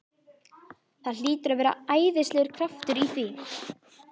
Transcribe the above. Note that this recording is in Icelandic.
Það hlýtur að vera æðislegur kraftur í því!